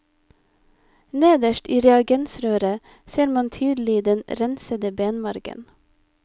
Nederst i reagensrøret ser man tydelig den rensede benmargen.